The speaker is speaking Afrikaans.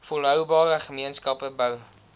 volhoubare gemeenskappe bou